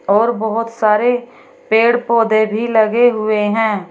और बहुत सारे पेड़ पौधे भी लगे हुए हैं।